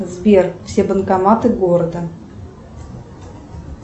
сбер все банкоматы города